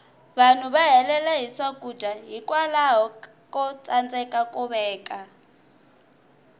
vanhu va helela hi swakudya hikwalaho ko tsandeka ku veka